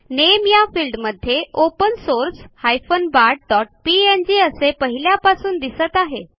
नामे या फिल्डमध्ये open source bartपीएनजी असे पहिल्यापासून दिसत आहे